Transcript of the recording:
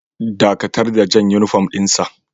Dakatar da jan uniform din sa!